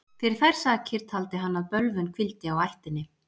Fyrir þær sakir taldi hann að bölvun hvíldi á ættinni.